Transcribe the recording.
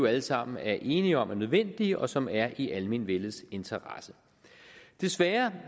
alle sammen er enige om er nødvendige og som er i almenvellets interesse desværre